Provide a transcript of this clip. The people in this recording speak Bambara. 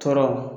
Tɔɔrɔ